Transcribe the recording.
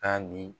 Ka di